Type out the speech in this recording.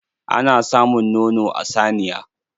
Ana samun nono a saniya.